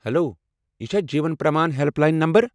Hello! یہِ چھا Jeevan Pramaan help line number?